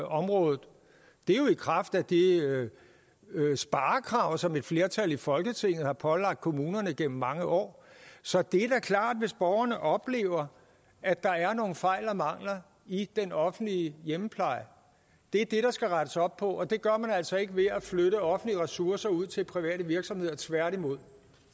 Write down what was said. og det er jo i kraft af de sparekrav som et flertal i folketinget har pålagt kommunerne gennem mange år så det er da klart hvis borgerne oplever at der er nogle fejl og mangler i den offentlige hjemmepleje det er det der skal rettes op på og det gør man altså ikke ved at flytte offentlige ressourcer ud til private virksomheder tværtimod